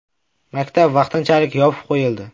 Maktab vaqtinchalik yopib qo‘yildi.